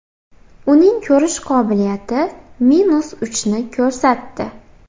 Uning ko‘rish qobiliyati minus uchni ko‘rsatdi.